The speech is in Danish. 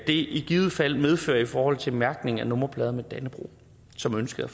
i givet fald medfører i forhold til mærkning af nummerplader med dannebrog som ønsket